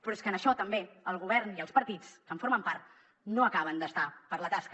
però és que en això també el govern i els partits que en formen part no acaben d’estar per la tasca